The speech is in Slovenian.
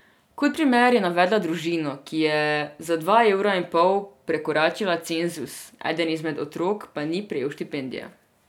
Kot primer je navedla družino, ki je za dva evra in pol prekoračila cenzus, eden izmed otrok pa ni prejel štipendije.